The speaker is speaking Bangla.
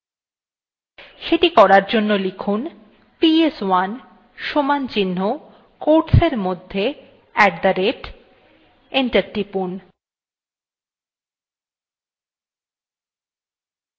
সেটি করার জন্য লিখুন ps1 equalto quotesin মধ্যে at the rate enter টিপুন